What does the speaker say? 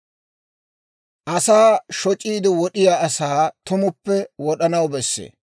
«Asaa shoc'iide wod'iyaa asaa tumuppe wod'anaw bessee.